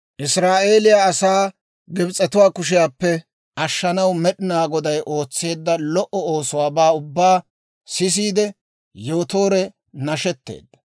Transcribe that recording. Israa'eeliyaa asaa Gibs'etuwaa kushiyaappe ashshanaw Med'inaa Goday ootseedda lo"o oosotuwaabaa ubbaa sisiide, Yootoore nashetteedda.